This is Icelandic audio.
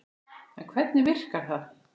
En hvernig virkar það?